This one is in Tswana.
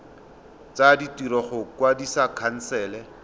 tsa ditiro go kwadisa khansele